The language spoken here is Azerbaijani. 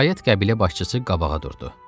Nəhayət qəbilə başçısı qabağa durdu.